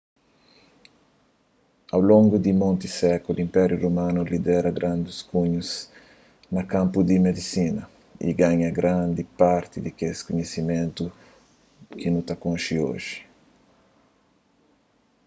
au longu di monti sékulu inpériu romanu lidera grandis ganhus na kanpu di medisina y forma grandi parti di kes kunhisimentu ki nu konxi oji